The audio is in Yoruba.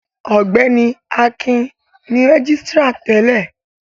Ọgbẹni Akin ni rẹgisitira tẹlẹ.